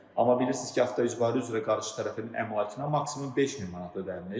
Amma bilirsiz ki, avto-icbari üzrə qarşı tərəfin əmlakına maksimum 5000 manat ödənilir.